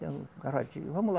Vamos lá.